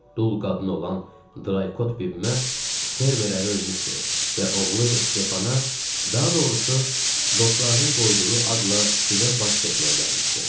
Dul qadın olan Draykot bibimə, fermer ərə ölmüşdü və oğlu Stefana, daha doğrusu, dostlarının qoyduğu adla Stivə baş çəkməyə gəlmişdim.